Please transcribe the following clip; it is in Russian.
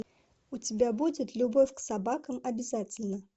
у тебя будет любовь к собакам обязательна